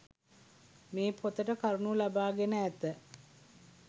මේ පොතට කරුණු ලබා ගෙන ඇත